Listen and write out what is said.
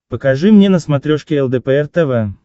покажи мне на смотрешке лдпр тв